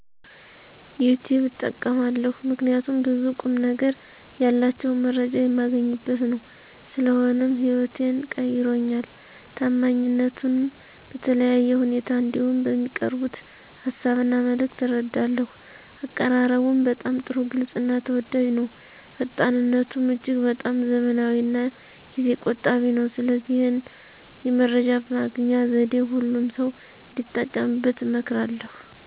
ዩቲብ እጠቀማለሁ ምከንያቱም ብዙ ቁምነገር ያላቸውን መረጃ የማገኝበት ነው። ስለሆነም ህይወቴን ቀይሮልኛል። ታማኝነቱንም በተለያየ ሁኔታ እንዲሁም በሚያቀርቡት ሀሳብ እና መልክት እረዳለሁ። አቀራረቡም በጣም ጥሩ ግልፅ እና ተወዳጅ ነው። ፈጣንነቱም እጅግ በጣም ዘመናዊና ጊዜ ቆጣቢ ነው። ስለዚህ ይህን የመረጃ ማግኛ ዘዴ ሁሉም ሰው እንዲጠቀምበት እመክራለሁ።